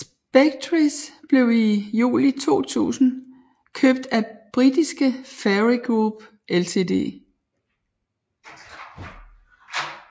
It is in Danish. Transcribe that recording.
Spectris blev i juli 2000 købt af britiske Fairey Group Ltd